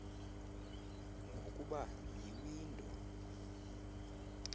ngokuba yi window